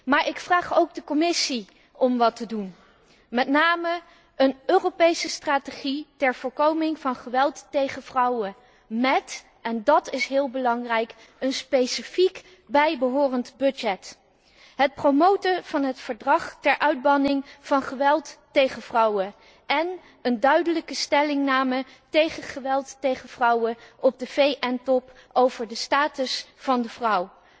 Maar ik vraag ook de Commissie om iets te doen, met name een Europese strategie ter voorkoming van geweld tegen vrouwen mét en dat is heel belangrijk een specifiek bijbehorend budget, het promoten van het verdrag ter uitbanning van geweld tegen vrouwen en een duidelijke stellingname tegen geweld tegen vrouwen op de VN top over de status van de vrouw.